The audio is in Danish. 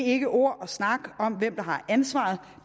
ikke ord og snak om hvem der har ansvaret